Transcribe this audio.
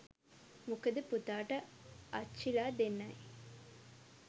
මොකද පුතාට අච්චිලා දෙන්නයි